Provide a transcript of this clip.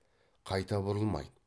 қайта бұрылмайды